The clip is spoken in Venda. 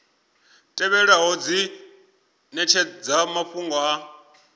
tevhelaho dzi netshedza mafhungo a